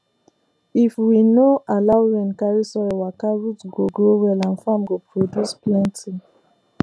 if we no allow rain carry soil waka root go grow well and farm go produce plenty